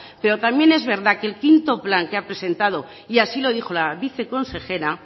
pero también es verdad que el quinto plan que ha presentado y así lo dijo la viceconsejera